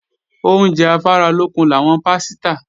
Oúnjẹ afáralókun làwọn pásítà